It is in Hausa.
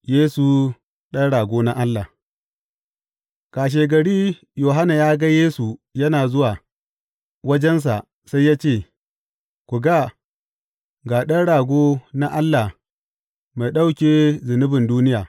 Yesu Ɗan Rago na Allah Kashegari Yohanna ya ga Yesu yana zuwa wajensa sai ya ce, Ku ga, ga Ɗan Rago na Allah mai ɗauke zunubin duniya!